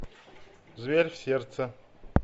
зверь в сердце